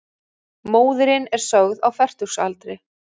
Móðirin er sögð á fertugsaldri